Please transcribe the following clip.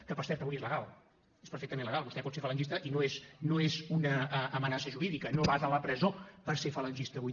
que per cert avui és legal és perfectament legal vostè pot ser falangista i no és una amenaça jurídica no vas a la presó per ser falangista avui